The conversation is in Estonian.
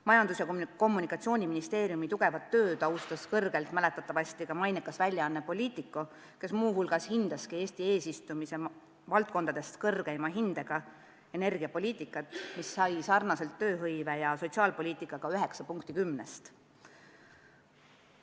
Majandus- ja Kommunikatsiooniministeeriumi tugevat tööd tunnustas kõrgelt mäletatavasti ka mainekas väljaanne Politico, kes andis Eesti eesistumise valdkondadest kõrgeima hinde energiapoliitikale, mis sai nagu tööhõive- ja sotsiaalpoliitikagi 9 punkti 10-st.